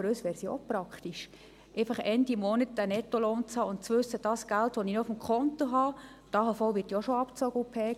Für uns wäre es auch praktisch, Ende Monat einen Nettolohn zu haben und zu wissen, dass man mit dem Geld, das auf dem Konto ist, tun kann, was man will.